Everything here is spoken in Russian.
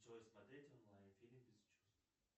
джой смотреть онлайн фильм без чувств